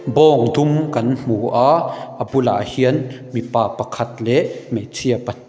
bawng dum kan hmu a a bulah hian mipa pakhat leh hmeichhia pa--